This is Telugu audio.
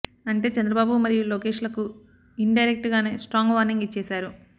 అంటే చంద్రబాబు మరియు లోకేష్ లకు ఇన్ డైరెక్ట్ గానే స్ట్రాంగ్ వార్నింగ్ ఇచ్చేసారు